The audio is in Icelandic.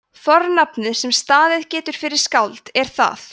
fornafnið sem staðið getur fyrir skáld er það